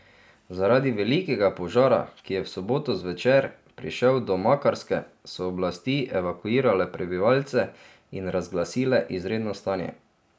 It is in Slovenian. Zaradi velikega požara, ki je v soboto zvečer prišel do Makarske, so oblasti evakuirale prebivalce in razglasile izredno stanje.